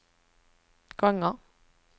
gånger